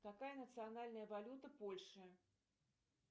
какая национальная валюта польши